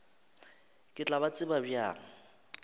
ke tla ba tseba bjang